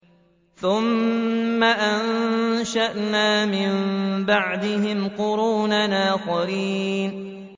ثُمَّ أَنشَأْنَا مِن بَعْدِهِمْ قُرُونًا آخَرِينَ